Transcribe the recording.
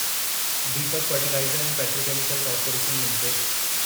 Deepak fertiliser ऐं petrochemical corporation limited